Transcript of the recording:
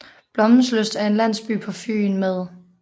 Blommenslyst er en landsby på Fyn med